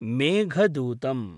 Meghadutam